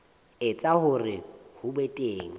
etsa hore ho be teng